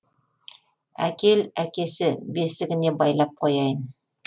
әкел әкесі бесігіне байлап қояйын